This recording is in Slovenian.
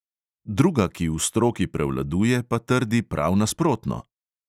Druga, ki v stroki prevladuje, pa trdi prav nasprotno.